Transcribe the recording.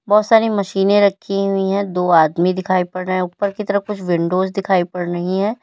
बहुत सारी मशीने रखी हुई है दो आदमी दिखाई पड़ रहे हैं ऊपर कि तरफ़ कुछ विंडोज दिखाई पड़ रही है।